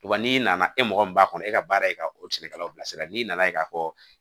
Wa n'i nana e mɔgɔ min b'a kɔnɔ e ka baara ye ka o cikɛlaw bilasira n'i nana ye k'a fɔ